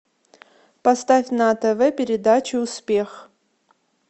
поставь на тв передачу успех